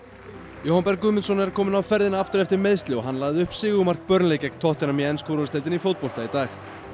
Jóhann Berg Guðmundsson er kominn á ferðina aftur eftir meiðsli og hann lagði upp sigurmark gegn tottenham í ensku úrvalsdeildinni í fótbolta í dag